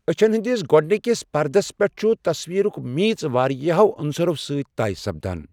اچھن ہندِس گوڈنِكس پردس پیٹھ چھ تصویٖرک میٖژ واریاہو عُنصَرو سٕتۍ تے سپدان ۔